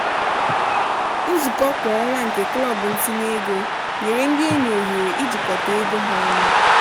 nzukọ kwa ọnwa nke klọb ntinye ego nyere ndị enyi ohere ijikọta ego ha ọnụ.